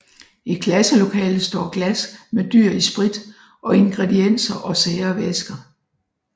I klasselokalet står glas med dyr i sprit og ingredienser og sære væsker